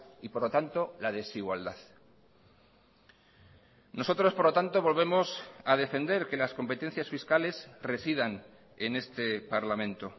y por lo tanto la desigualdad nosotros por lo tanto volvemos a defender que las competencias fiscales residan en este parlamento